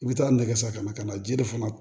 I bɛ taa nɛgɛ san kana ji de fana